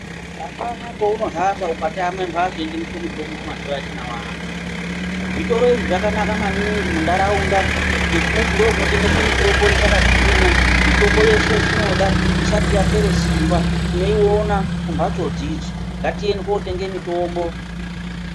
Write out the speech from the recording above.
Hapana pauno hamba ukatama mhatso inotengeswe mitombo mazuva atinao anaya zvitoro izvi zvakanaka maningi muntaraunda ngekuti ndoku notengeswa mitombo ichakagwinya mitombo yeshe yetinoda isati yapere simba tinoyiona kumbatso dzidzi ngatiende tinotenge mitombo.